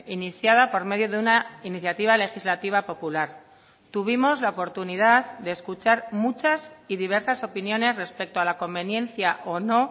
iniciada por medio de una iniciativa legislativa popular tuvimos la oportunidad de escuchar muchas y diversas opiniones respecto a la conveniencia o no